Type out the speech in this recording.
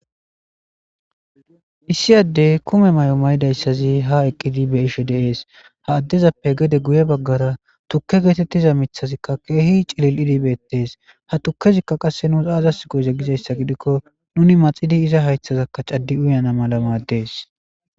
issi addey kume may7o maydayssazi ha eqqidi beishe deees ha addezappe gede guye baggara tukke geetettiza mithazikka keehi cilil7idibeettees ha tukkezikka qasse nuus aazas goyze gizayssa gidikko nuni maxidi iza haythazakka caddi uyana mala maaddees